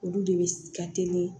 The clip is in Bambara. Olu de bɛ ka teli